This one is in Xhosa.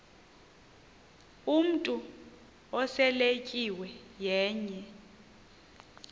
umntu oseletyiwe yenye